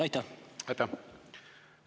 Aitäh!